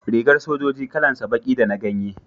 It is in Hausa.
Rigar sojoji kalan sa baki da na ganye